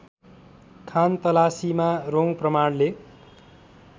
खानतलासीमा रौँ प्रमाणले